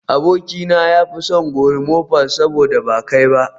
Abokina ya fi son gorimofa saboda ba kai ba